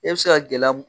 E bɛ se ka gɛlɛya mun